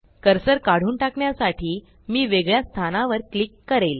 cursor काढून टाकण्यासाठी मी वेगळ्या स्थानावर क्लिक करेल